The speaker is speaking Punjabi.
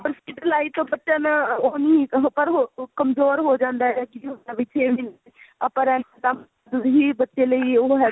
ਪਰ skill like ਬੱਚਾ ਉਹ ਨੀ ਕਮਜੋਰ ਹੋ ਜਾਂਦਾ ਹੈਂ ਆਪਾ ਵੀ ਬੱਚੇ ਲਈ ਉਹ